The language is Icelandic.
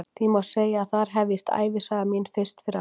Því má segja að þar hefjist ævisaga mín fyrst fyrir alvöru.